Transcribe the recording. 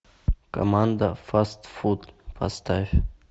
команда фастфуд поставь